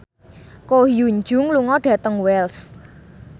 Ko Hyun Jung lunga dhateng Wells